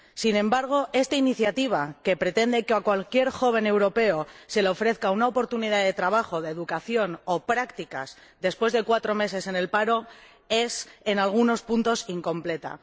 Sin embargo, esta iniciativa, que pretende que a cualquier joven europeo se le ofrezca una oportunidad de trabajo, de educación o de prácticas después de cuatro meses en el paro, es en algunos puntos incompleta.